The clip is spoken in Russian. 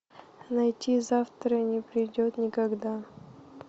найти завтра не придет никогда